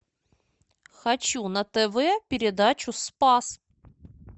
хочу на тв передачу спас